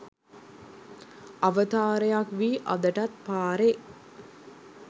අවතාරයක් වී අදටත් පාරේ